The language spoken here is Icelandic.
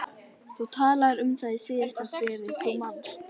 Þú talaðir um það í síðasta bréfi, þú manst.